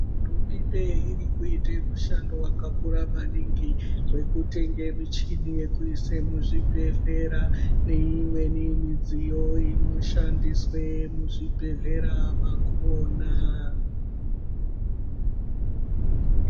Hurumemnde irikuita mushando wakakura maningi wekutenga michini yekuise muzvibhehleya neimweni midziyo inoshandiswa muzvibhehleya makona.